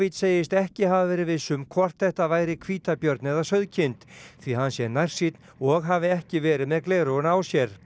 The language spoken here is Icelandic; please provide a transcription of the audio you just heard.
segist ekki hafa verið viss um hvort þetta væri hvítabjörn eða sauðkind því hann sé nærsýnn og hafi ekki verið með gleraugun á sér